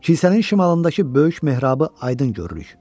Kilsənin şimalındakı böyük mehrabı aydın görürük.